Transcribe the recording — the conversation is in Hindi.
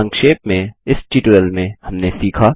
संक्षेप में इस ट्यूटोरियल में हमने सीखा